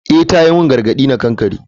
Eh ta yi min gargadi na kankare.